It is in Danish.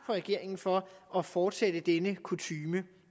regeringen for at fortsætte denne kutyme